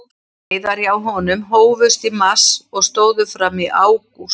Veiðar hjá honum hófust í mars og stóðu fram í ágúst.